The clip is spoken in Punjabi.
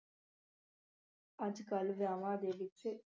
ਅੱਜ ਕੱਲ੍ਹ ਵਿਆਵਾਂ ਦੇ ਵਿੱਚ